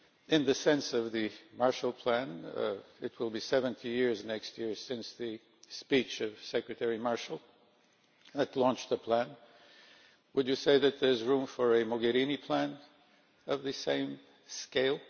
In the sense of the Marshall Plan it will be 70 years next year since the speech of Secretary Marshall, who launched the plan would you say that there is room for a Mogherini plan of this same scale?